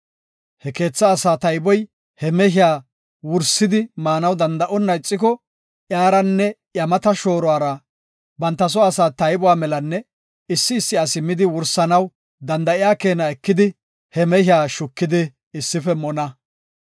He keetha asaa tayboy he mehiya wursidi maanaw danda7onna ixiko, iyaranne iya mata shooruwara banta soo asaa taybuwa melanne issi issi asi midi wursanaw danda7iya keena ekidi he mehiya shukidi issife mona.